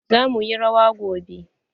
Za muyi rawa gobe.